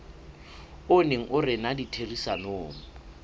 o neng o rena ditherisanong